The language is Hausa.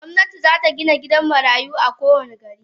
Gomnati zata Gina gidan marayu a kowani gari.